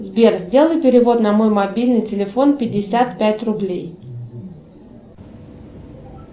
сбер сделай перевод на мой мобильный телефон пятьдесят пять рублей